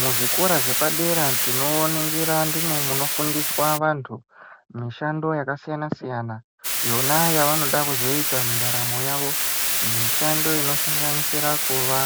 Muzvikora zvepadera tinoningira ndimwo munofundiswe anhu mishando yakasiyana siyana yona yavanoda kuzoita mundaramo yavo. Mishando inosanganisira kuva